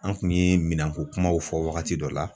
An kun ye minɛnko kumaw fɔ wagati dɔ la